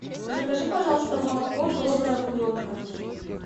закажи пожалуйста молоко добрая буренка